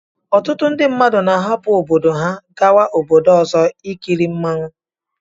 Ọtụtụ ndi mmadụ na arapu obodo ha ga obodo ọzọ ikili mụọnwụ